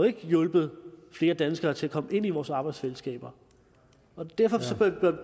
ikke har hjulpet flere danskere til at komme ind i vores arbejdsfællesskaber derfor